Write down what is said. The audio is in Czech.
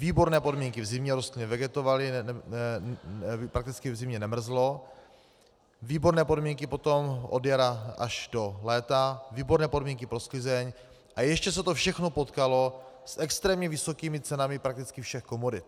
Výborné podmínky v zimě, rostliny vegetovaly, prakticky v zimě nemrzlo, výborné podmínky potom od jara až do léta, výborné podmínky pro sklizeň a ještě se to všechno potkalo s extrémně vysokými cenami prakticky všech komodit.